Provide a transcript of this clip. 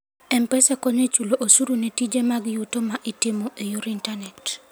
M-Pesa konyo e chulo osuru ne tije mag yuto ma itimo e yor intanet.